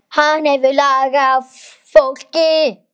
Hann hefur lag á fólki.